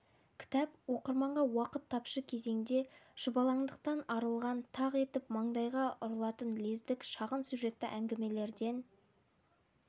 кітап оқырманға уақыт тапшы кезеңде шұбалаңдықтан арылған тақ етіп таңдайға ұрылатын лездік шағын сюжетті әңгімелерден